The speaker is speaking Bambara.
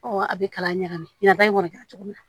a bɛ kala ɲagami ɲɛnba in kɔni kɛra cogo min na